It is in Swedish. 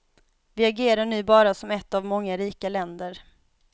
Vi agerar nu bara som ett av många rika länder.